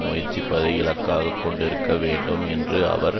முயற்சிப்பதை இலக்காக கொண்டிருக்க வேண்டும் என்று அவர்